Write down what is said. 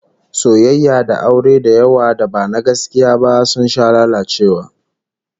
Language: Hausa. Soyayya da aure da yawa da ba na gaskiya ba sun sha lalacewa